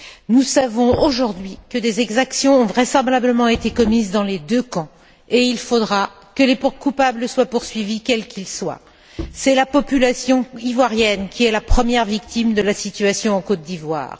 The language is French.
Nous savons aujourd'hui que des exactions ont vraisemblablement été commises dans les deux camps, et il faudra que les coupables soient poursuivis, quels qu'ils soient. C'est la population ivoirienne qui est la première victime de la situation en Côte d'Ivoire.